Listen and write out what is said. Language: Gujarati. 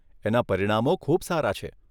એના પરિણામો ખૂબ સારા છે.